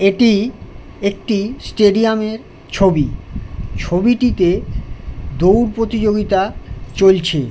এটি একটি স্টেডিয়াম -এর ছবি | ছবিটিতে দৌড় প্রতিযোগিতা চলছে ।